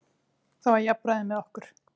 Það var jafnræði með okkur.